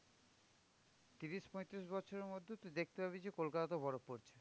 তিরিশ পঁয়তিরিশ বছরের মধ্যে তুই দেখতে পাবি যে কলকাতাতেও বরফ পড়ছে।